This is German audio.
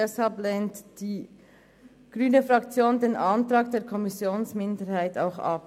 Deshalb lehnt die grüne Fraktion den Antrag der Kommissionsminderheit auch ab.